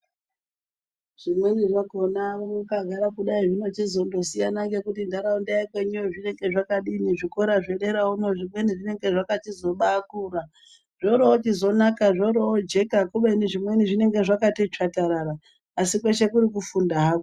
Zvimweni zvakhona mwakanyagara kudayi zvinochizondosiyana ngekuti nharaunda yekwenyuyo zvinenge zvakadini. Zvikora zvedera uno zvimweni zvinenge zvakachizobakura zvoro zvoochizonaka zvoro zvojeka. Zvimweni zvakachiti tsvatarara asi kweshe kuri kufunda hako.